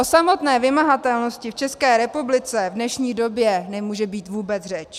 O samotné vymahatelnosti v České republice v dnešní době nemůže být vůbec řeč.